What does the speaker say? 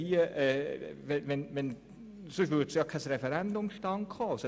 Sonst käme ja kein Referendum zustande.